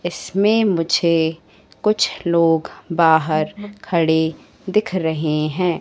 इसमें मुझे कुछ लोग बाहर खड़े दिख रहे हैं।